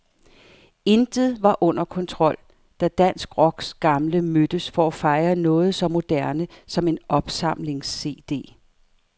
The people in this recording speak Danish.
Intet var under kontrol, da dansk rocks gamle mødtes for at fejre noget så moderne som en opsamlingscd.